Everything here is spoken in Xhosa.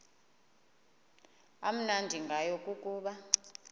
amnandi ngayo kukuba